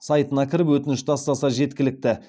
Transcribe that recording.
сайтына кіріп өтініш тастаса жеткілікті